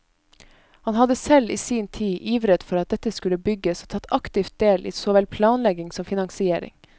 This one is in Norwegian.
Han hadde selv i sin tid ivret for at dette skulle bygges, og tatt aktiv del i så vel planlegging som finansiering.